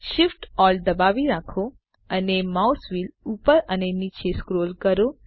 Shift Alt દબાવી રાખો અને માઉસ વ્હીલ ઉપર અને નીચે સ્ક્રોલ કરો